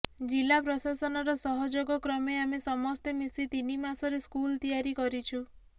ଜିଲ୍ଲା ପ୍ରଶାସନର ସହଯୋଗ କ୍ରମେ ଆମେ ସମସ୍ତେ ମିଶି ତିନି ମାସରେ ସ୍କୁଲ ତିଆରି କରିଛୁ